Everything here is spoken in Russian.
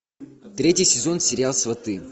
третий сезон сериал сваты